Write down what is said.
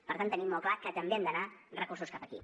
per tant tenim molt clar que també han d’anar recursos cap aquí